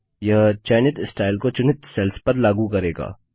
यह चयनित स्टाइल को चुनित सेल्स पर लागू करेगा